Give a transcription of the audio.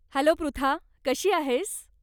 Hello Pritha. कशी आहेस?